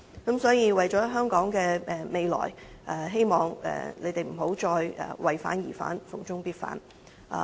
因此，為了香港的未來，希望你們不要再"為反而反"、"逢中必反"。